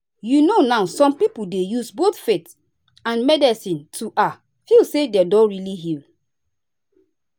you know now some people dey use both faith and medicine to ah feel say dem don really heal.